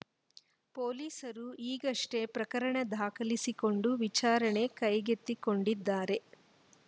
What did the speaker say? ಪೊಲೀಸರು ಈಗಷ್ಟೇ ಪ್ರಕರಣ ದಾಖಲಿಸಿಕೊಂಡು ವಿಚಾರಣೆ ಕೈಗೆತ್ತಿಕೊಂಡಿದ್ದಾರೆ